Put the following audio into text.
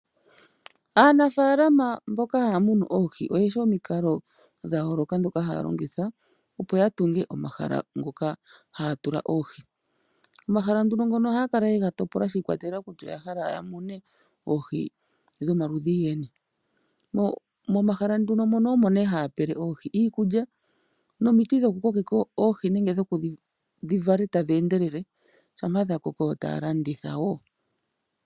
Aanafaalama mboka haya munu oohi oyeshi omikalo dhayooloka ndhoka haya longitha opo ya tunge omahala ngoka haya tula oohi. Omahala ngono ohaya kala ye ga topola shiikwatelela kutya oya hala ya mune oohi dhomaludhi geni. Momahala mono omo haya pele oohi iikulya nomiti dhokukokeka oohi dhi vale tadhi endelele shampa dha koko taya landitha wo.